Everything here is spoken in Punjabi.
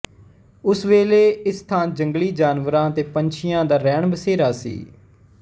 ਉਸ ਵੇਲੇ ਇਸ ਥਾਂ ਜੰਗਲੀ ਜਾਨਵਰਾਂ ਅਤੇ ਪੰਛੀਆਂ ਦਾ ਰੈਣਬਸੇਰਾ ਸੀ